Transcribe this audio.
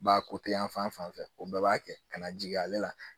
Ba ko te yan fan fan fɛ o bɛɛ b'a kɛ ka na jigin ale la